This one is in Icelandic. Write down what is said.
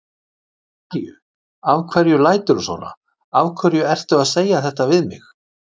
Af hverju. af hverju læturðu svona. af hverju ertu að segja þetta við mig?